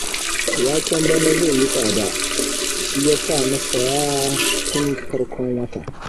Waken bana zai yi tsada, shi ya sa na saya tun farkon wata